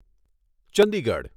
Chandigarh